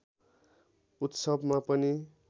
उत्सवमा पनि